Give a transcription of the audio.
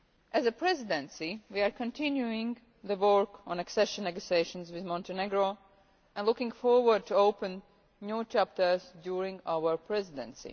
As a Presidency, we are continuing the work on accession negotiations with Montenegro and are looking forward to opening new chapters during our Presidency.